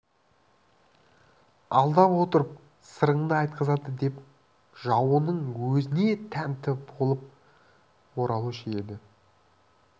алдап отырып бар сырыңды айтқызады деп жауының өзіне тәнті болып оралушы еді